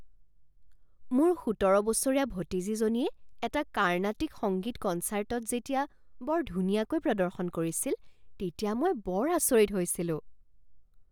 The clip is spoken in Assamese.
মোৰ সোতৰ বছৰীয়া ভতিজীজনীয়ে এটা কাৰ্ণাটিক সংগীত কনচাৰ্টত যেতিয়া বৰ ধুনীয়াকৈ প্ৰদৰ্শন কৰিছিল তেতিয়া মই বৰ আচৰিত হৈছিলোঁ।